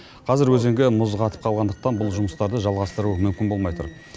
қазір өзенге мұз қатып қалғандықтан бұл жұмыстарды жалғастыру мүмкін болмай тұр